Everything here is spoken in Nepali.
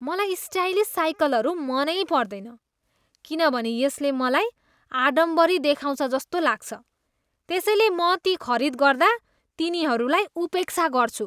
मलाई स्टाइलिस साइकलहरू मनै पर्दैन किनभने यसले मलाई आडम्बरी देखाउँछ जस्तो लाग्छ, त्यसैले म ती खरीद गर्दा तिनीहरूलाई उपेक्षा गर्छु।